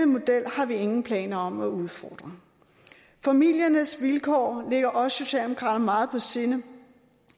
model har vi ingen planer om at udfordre familiernes vilkår ligger os socialdemokrater meget på sinde